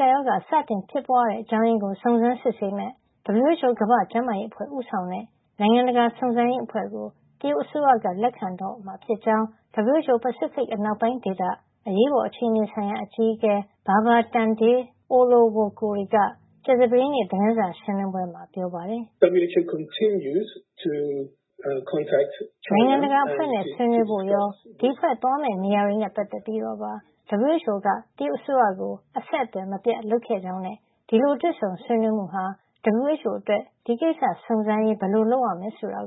ကပ်ရောဂါ စတင်ဖြစ်ပွါးရတဲ့ အကြောင်းရင်းကို စုံစမ်းစစ်ဆေးမယ့် WHO ကမ္ဘာ့ ကျန်းမာရေးအဖွဲ့ဦးဆောင်တဲ့ နိုင်ငံတကာစုံစမ်းရေး အဖွဲ့ကို တရုတ်အစိုးရက လက်ခံတော့မှာ ဖြစ်ကြောင်း WHO ပစိဖိတ်အနောက်ပိုင်း ဒေသ အရေးပေါ်အခြေနေဆိုင်ရာ အကြီးအကဲ Babatunde Olowokure က ကြာသပတေးနေ့ သတင်းစာရှင်းလင်းပွဲမှာ ပြောပါတယ်။ နိုင်ငံတကာအဖွဲ့နဲ့ ဆွေးနွေးဖို့ရော ဒီအဖွဲ့သွားမယ့်နေရာတွေနဲ့ပတ်သက်ပြီးတော့ပါ WHO က တရုတ်အစိုးရကို အဆက်အသွယ်မပြတ်လုပ်ခဲ့ကြောင်းနဲ့ ဒီလို တွေ့ဆုံဆွေးနွေးမှုဟာ WHO အတွက် ဒီကိစ္စစုံစမ်းရေးဘယ်လိုလုပ်ရမယ့် ဆိုတာ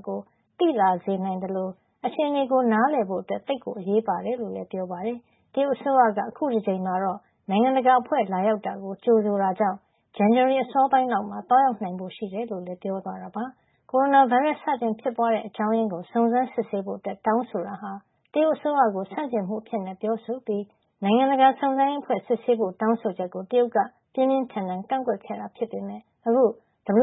သိလာစေ နိုင်သလို အခြေနေနားလည်ဖို့အတွက် သိပ်ကို အရေးပါတယ် လို့လည်း ပြောပါတယ်။ တရုတ်အစိုးရက အခု တကြိမ်မှာတော့ နိုင်ငံတကာ အဖွဲ့လာရောက် တာကို ကြိုဆိုတာကြောင့် ဇန်နဝါရီလ အစောပိုင်းလောက်မှာ သွားရောက်နိုင်ဖို့ ရှိကြောင်း ပြောသွားတာပါ။ ကိုရိုနာဗိုင်းရပ်စ် စတင်ဖြစ်ပွါးတဲ့အကြောင်းရင်းကို စုံစမ်းစစ်ဆေးဖို့ တောင်းဆိုတာဟာ တရုတ်အစိုးရကို ဆန့်ကျင်မှုအဖြစ် ပြောဆိုပြီး နိုင်ငံတကာစုံစမ်းရေး အဖွဲ့ စစ်ဆေးဖို့ ဆောင်းဆိုချက်ကို တရုတ်က ပြင်းပြင်းထန်ထန် ကန့်ကွက်ခဲ့တာ ဖြစ်ပေမယ့် အခု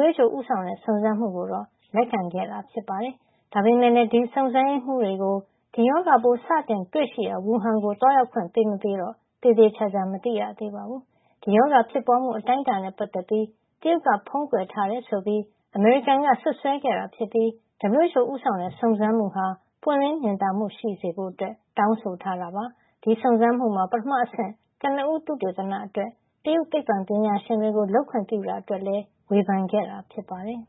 WHO ဦးဆောင်တဲ့ စုံစမ်းမှုကို လက်ခံခဲ့တာဖြစ်ပါတယ်။ ဒါပေမယ့်လည်း ဒီစုံစမ်းရေးမှုးတွေကို ဒီရောဂါပိုး စတင်တွေ့ရှိရာ ဝူဟန်မြို့ကို သွားရောက်ခွင့် ပေးမပေးတော့ သေသေချာချာ မသိရသေးပါဘူး။ ဒီရောဂါဖြစ်ပွါးမှု အတိုင်းအတာနဲ့ပတ်သက်ပြီး တရုတ်က ဖုံးကွယ်ထားတယ်ဆိုပြီး အမေရိကန်နိုင်ငံက စွပ်စွဲခဲ့တာ ဖြစ်ပြီး WHO ဦးဆောင်တဲ့ စုံစမ်းမှုဟာ ပွင့်လင်း မြင်သာမှု ရှိစေဖို့ တောင်းဆိုထားတာပါ။ ဒီစုံစမ်းမှုမှာ ပထမအဆင့် ကနဦးသုတေသန အတွက် တရုတ်သိပ္ပွံပညာရှင်တွေကို လုပ်ခွင့်ပြုခဲ့တာ အတွက်လည်း ဝေဖန်ခဲ့တာ ဖြစ်ပါတယ်။